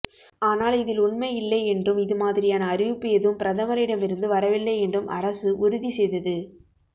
ஆனால் இதில் உண்மை இல்லை என்றும் இதுமாதிரியான அறிவிப்பு எதுவும் பிரதமரிடம் இருந்து வரவில்லை என்றும் அரசு உறுதி செய்தது